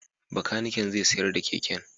Bakanikin zai sayar da keken.